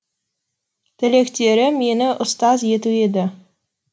тілектері мені ұстаз ету еді